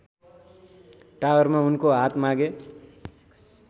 टावरमा उनको हात मागे